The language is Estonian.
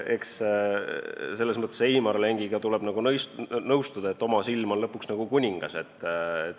Eks selles mõttes tuleb Heimar Lengiga nõustuda, et oma silm on lõpuks kuningas.